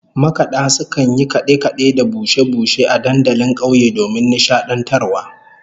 Makada sukan yi kade-kade da bushe-bushe a dandalin kauye domin nishadantarwa